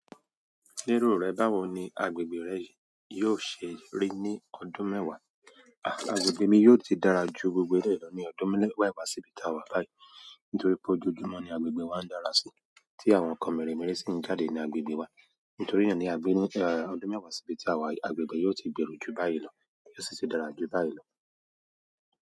Lérò rẹ báwo ni agbègbè rẹ yìí yóò ṣe rí ní ọdún mẹ́wàá? À, agbègbè mi yóò ti dára ju gbogbo eléyìí lọ ní ọdún mẹ́wàá síbí táa wà báyìí. Nítorí pé ojojúmọ́ ni agbègbè wa ń dára sí, tí àwọn nǹkan mèremère sì ń jáde ní agbègbè wa. Nítorí náà ní ọdún mẹ́wàá síbí tí àwa, agbègbè yóò ti gbèrú ju báyìí lọ, yóò sì ti dára ju báyìí lọ.